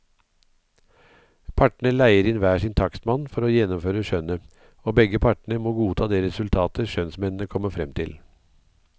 Partene leier inn hver sin takstmann til å gjennomføre skjønnet, og begge partene må godta det resultatet skjønnsmennene kommer frem til.